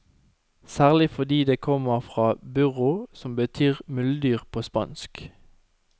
Særlig fordi det kommer fra burro, som betyr muldyr på spansk.